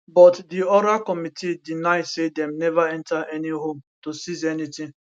but di oral committee deny say dem neva enta any home to seize anytin